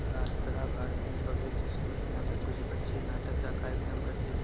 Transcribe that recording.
राष्ट्र Bharati public school यहां पे कुछ बच्चे नाटक का कार्यक्रम करते हुए --